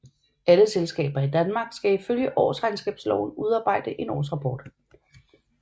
Alle selskaber i Danmark skal ifølge Årsregnskabsloven udarbejde en årsrapport